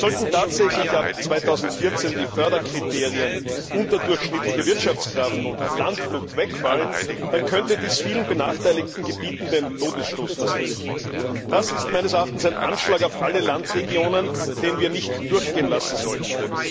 Sollten tatsächlich ab 2014 die Förderkriterien unterdurchschnittliche Wirtschaftskraft und Landflucht wegfallen, dann könnte dies vielen benachteiligten Gebieten den Todesstoß versetzen. Das ist meines Erachtens ein Anschlag auf alle Landregionen, den wir nicht durchgehen lassen sollten.